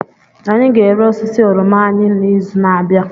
Anyị ga-ere osisi oroma anyị n'izu na-abịa.